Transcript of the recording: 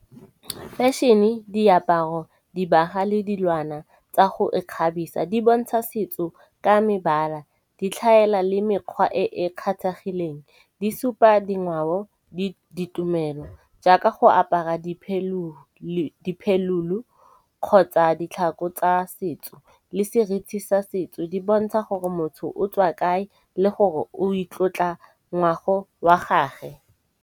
Fashion-e, diaparo, dibaga le dilwana tsa go ikgabisa di bontsha setso ka mebala. Di tlhaela le mekgwa e e kgathagileng, di supa dingwao, di ditumelo jaaka go apara diphelulu kgotsa ditlhako tsa setso le seriti sa setso. Di bontsha gore motho o tswa kae le gore o itlotla ngwago wa gage.